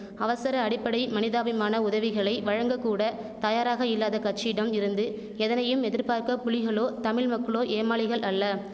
அவசர அடிப்படை மனிதாபிமான உதவிகளை வழங்க கூட தயாராக இல்லாத கட்சியிடம் இருந்து எதனையும் எதிர்பார்க்க புலிகளோ தமிழ்மக்களோ ஏமாளிகள் அல்ல